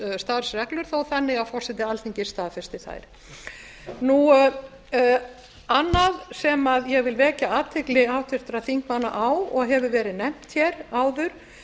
starfsreglur þó þannig að forseti alþingis staðfesti þær annað sem ég vil vekja athygli háttvirtra þingmanna á og hefur verið nefnt hér áður